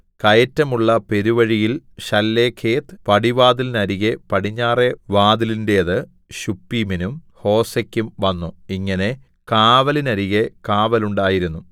കയറ്റമുള്ള പെരുവഴിയിൽ ശല്ലേഖെത്ത് പടിവാതിലിനരികെ പടിഞ്ഞാറെ വാതിലിന്റേത് ശുപ്പീമിനും ഹോസെക്കും വന്നു ഇങ്ങനെ കാവലിന്നരികെ കാവലുണ്ടായിരുന്നു